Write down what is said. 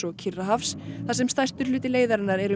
Kyrrahafs þar sem stærstur hluti leiðarinnar er um